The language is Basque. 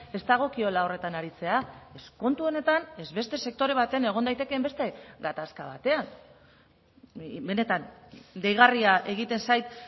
ez dagokiola horretan aritzea ez kontu honetan ez beste sektore baten egon daitekeen beste gatazka batean benetan deigarria egiten zait